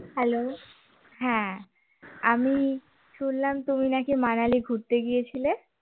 hello হ্যাঁ, আমি শুনলাম তুমি নাকি মানালি ঘুরতে গিয়েছিলে?